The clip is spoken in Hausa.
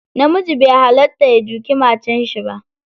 Namiji bai hallata ya duki matarshi ba.